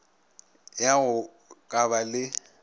ya go ka ba le